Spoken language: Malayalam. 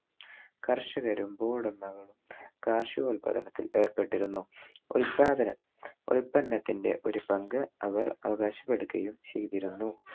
കർഷകരും ഭൂഉടമകളും കാർഷികോല്പാദനത്തിൽ ഏർപ്പെട്ടിരുന്നു. ഉല്പാദകർ ഉൽപന്നത്തിന്‍റെ ഒരു പങ്ക് അവർ അവകാശം എടുക്കുകയും ചെയ്‌തിരുന്നു.